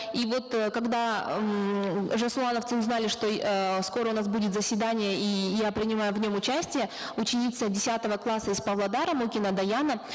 и вот э когда ммм жасулановцы узнали что скоро у нас будет заседание и я принимаю в нем участие ученица десятого класса из павлодара мокина даяна